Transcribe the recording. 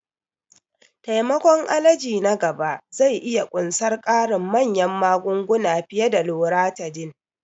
Taimakon allergy na gaba zai iya ƙunsar ƙarin manyan magunguna fiye da Loratiday.